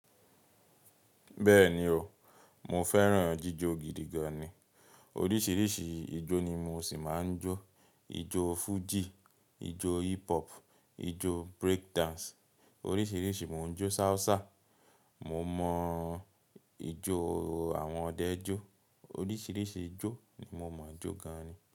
Bẹ́ẹ̀ni o, mo fẹ́ràn jíjò gidi gan ni. Oríṣiríṣi ìjó ni mo ṣì máa ń jó. Ìjó Fuji, ìjó hip hop, ìjó break dance, oríṣiríṣi mo ń jó, salsa. Mo mọ ìjó àwọn ọdẹ jó. Oríṣiríṣi ìjó ni mo máa ń jó gan ni.